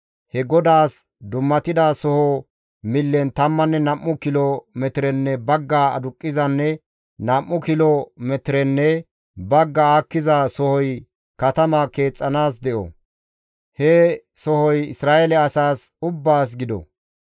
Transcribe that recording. « ‹He GODAAS dummatida sohoza millen tammanne nam7u kilo metirenne bagga aduqqizanne nam7u kilo metirenne bagga aakkiza sohoy katama keexxanaas de7o; he sohoy Isra7eele asaas ubbaas gido.